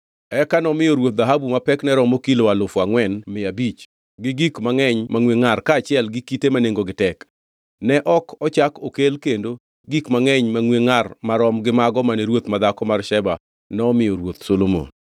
Eka nomiyo ruoth dhahabu ma pekne romo kilo alufu angʼwen mia abich, gi gik mangʼeny mangʼwe ngʼar kaachiel gi kite ma nengogi tek. Ne ok ochak okel kendo gik mangʼeny mangʼwe ngʼar marom gi mago mane ruoth madhako mar Sheba nomiyo Ruoth Solomon.